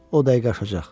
O dəqiqə aşacaq.